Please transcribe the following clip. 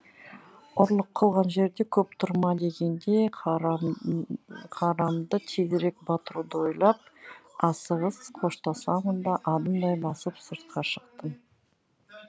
ұрлық қылған жерде көп тұрма дегендей қарамды тезірек батыруды ойлап асығыс қоштасамын да адымдай басып сыртқа шықтым